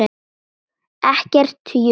Ekkert jukk.